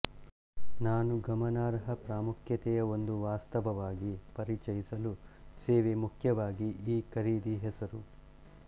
ನಾನು ಗಮನಾರ್ಹ ಪ್ರಾಮುಖ್ಯತೆಯ ಒಂದು ವಾಸ್ತವವಾಗಿ ಪರಿಚಯಿಸಲು ಸೇವೆ ಮುಖ್ಯವಾಗಿ ಈ ಖರೀದಿ ಹೆಸರು